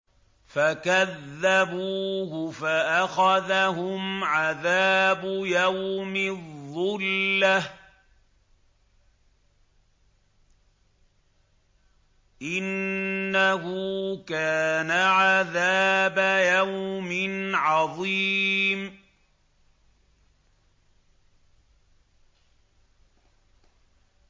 فَكَذَّبُوهُ فَأَخَذَهُمْ عَذَابُ يَوْمِ الظُّلَّةِ ۚ إِنَّهُ كَانَ عَذَابَ يَوْمٍ عَظِيمٍ